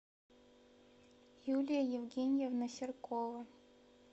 юлия евгеньевна серкова